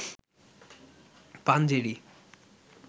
Panjeree